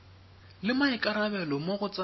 le maikarabelo mo go tsa